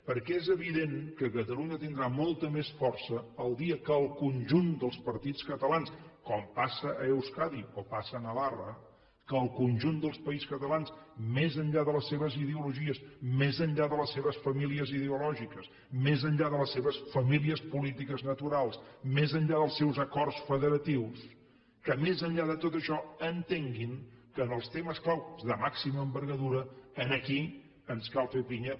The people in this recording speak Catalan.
perquè és evident que catalunya tindrà molta més força el dia que el conjunt dels partits catalans com passa a euskadi o passa a navarra que el conjunt del partits catalans més enllà de les seves ideologies més enllà de les seves famílies ideològiques més enllà de les seves famílies polítiques naturals més enllà dels seus acords federatius més enllà de tot això entenguin que en els temes clau de màxima envergadura aquí ens cal fer pinya